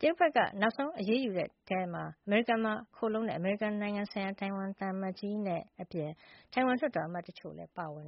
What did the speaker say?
ထောင်စုက ပြောဆိုပါတယ်။ တရုတ်ဘက်က နောက်ဆုံး အရေးယူဒဏ်ခတ်ခဲ့သူတွေထဲမှာ အမေရိကန်မှာ ခိုလှုံတဲ့ အမေရိကန်ဆိုင်ရာ တိုင်ဝမ်သံအမတ်ကြီး Bi-khim Hsiao အပြင် တိုင်ဝမ်လွှတ်တော်အမတ်တချို့လည်း ပါဝင်